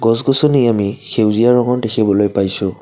গছ গছনি আমি সেউজীয়া ৰঙৰ দেখিবলৈ পাইছোঁ।